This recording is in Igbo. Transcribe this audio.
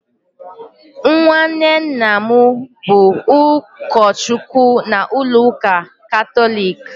nwanne nna m bụ ụkọchukwu na ụlọ ụka Katọlik